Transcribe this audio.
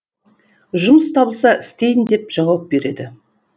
жұмыс табылса істейін деп жауап береді